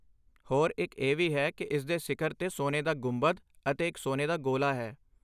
ਹੋਰ ਇਹ ਵੀ ਹੈ ਕਿ ਇਸ ਦੇ ਸਿਖਰ 'ਤੇ ਸੋਨੇ ਦਾ ਗੁੰਬਦ ਅਤੇ ਇੱਕ ਸੋਨੇ ਦਾ ਗੋਲਾ ਹੈ।